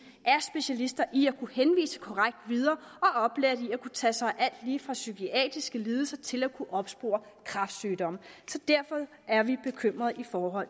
er specialister i at kunne henvise korrekt videre og er oplært i at kunne tage sig af lige fra psykiatriske lidelser til at kunne opspore kræftsygdomme så derfor er vi bekymrede for